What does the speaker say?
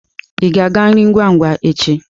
Ị ga-aga nri ngwa ngwa echi?